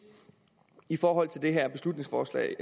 i forhold til det her forslag